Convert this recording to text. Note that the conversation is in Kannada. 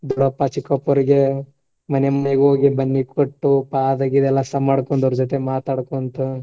ದೊಡ್ಡಪ್ಪಾ, ಚಿಕ್ಕಪ್ಪಾರಿಗೆ ಮನೆ ಮನೆಗೆ ಹೋಗಿ ಬನ್ನಿ ಕೊಟ್ಟು ಪಾದ ಗಿದ ಸನಮಾಡಿಕೊಂಡ ಅವ್ರ್ ಜೊತೆ ಮಾತಾಡ್ಕೊಂತ.